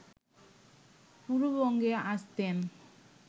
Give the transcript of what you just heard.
পূর্ববঙ্গে আসতেন